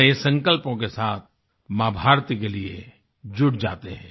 नए संकल्पों के साथ माँ भारती के लिए जुट जाते हैं